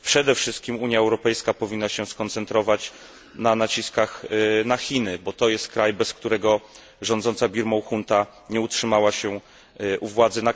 Przede wszystkim Unia Europejska powinna się skoncentrować na naciskach na Chiny, bo to jest kraj, bez którego rządząca Birmą junta nie utrzymałaby się u władzy.